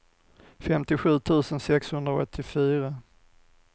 femtiosju tusen sexhundraåttiofyra